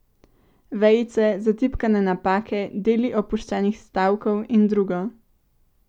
Vejice, zatipkane napake, deli opuščenih stavkov in drugo.